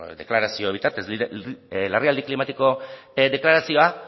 deklarazio bitartez larrialdi klimatiko deklarazioa